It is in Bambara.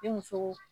Ni muso